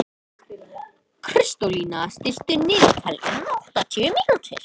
Kristólína, stilltu niðurteljara á áttatíu mínútur.